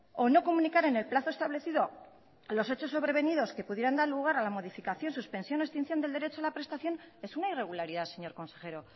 o no comunicar en el plazo establecido los hechos sobrevenidos que pudieran dar lugar a la modificación suspensión o extinción del derecho de la prestación es una irregularidad señor consejero